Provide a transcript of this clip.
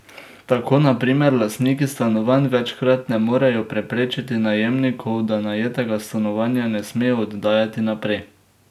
Tako na primer lastniki stanovanj večkrat ne morejo prepričati najemnikov, da najetega stanovanja ne smejo oddajati naprej.